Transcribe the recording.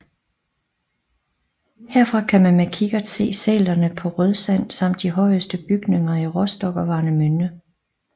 Herfra kan man med kikkert se sælerne på Rødsand samt de højeste bygninger i Rostock og Warnemünde